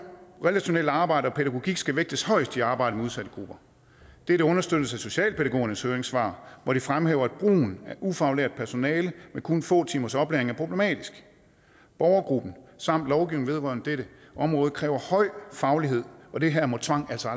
relationelt arbejde og pædagogik skal vægtes højest i arbejdet med udsatte grupper dette understøttes af socialpædagogernes høringssvar hvor de fremhæver at brugen af ufaglært personale med kun få timers oplæring er problematisk borgergruppen samt lovgivningen vedrørende dette område kræver høj faglighed og det her må tvang altså